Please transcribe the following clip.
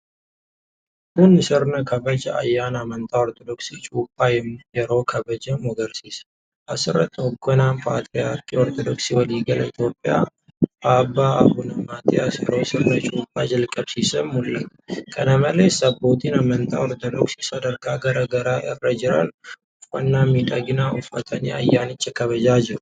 Kun sirna kabaja ayyaana Amantaa Ortodoksii Cuuphaa yeroo kabajamu agarsiisa. Asirratti hogganaan Patiriyaarkii Ortodoksii waliigalaa Itiyoophiyaa Abbaa Abuna Maatiyaas yeroo sirna Cuuphaa jalqabsiisan mul'ata. Kana malees Abbootiin amantaa Ortodoksii sadarkaa garaa garaa irra jiran uffannaa midhagaa uffatanii ayyaanicha kabajaa jiru.